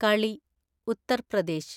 കളി - ഉത്തർ പ്രദേശ്